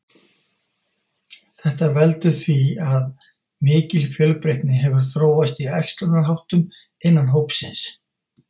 Þetta veldur því að mikil fjölbreytni hefur þróast í æxlunarháttum innan hópsins.